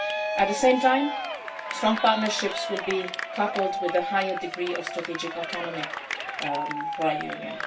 ahead. At the same time, strong partnerships will be coupled with a higher degree of strategic autonomy for our